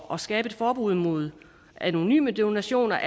at skabe et forbud mod anonyme donationer